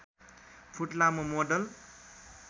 foot लामो model